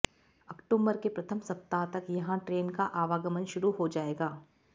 October के प्रथम सप्ताह तक यहां ट्रेन का आवागमन शुरू हो जाएगा